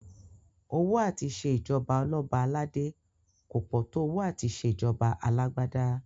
Owó à ti ṣe ìjọba ọlọ́ba aládé kò pọ̀ tó owó àti ṣe ìjọba alágbádá